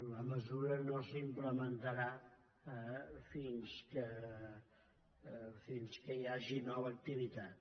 la mesura no s’implementarà fins que hi hagi nova activitat